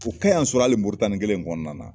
U y'an sɔrɔ hali Moritani kelen in kɔnɔna na.